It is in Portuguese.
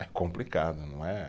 É complicado, não é